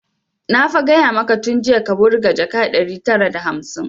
Na fa gaya maka tun jiya ka wurga jaka ɗari tara da hamsin!